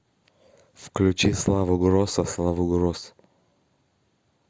включи славу гросса славу гросс